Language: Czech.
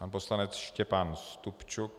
Pan poslanec Štěpán Stupčuk.